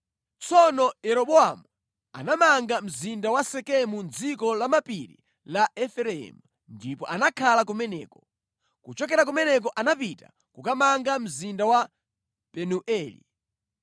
Tsono Yeroboamu anamanga mzinda wa Sekemu mʼdziko la mapiri la Efereimu ndipo anakhala kumeneko. Kuchokera kumeneko anapita kukamanga mzinda wa Penueli.